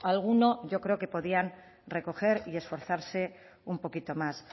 alguno yo creo que podían recoger y esforzarse un poquito más